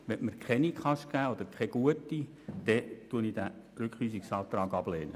Wenn Sie mir keine Antwort oder keine gute geben, dann lehne ich diesen Rückweisungsantrag ab.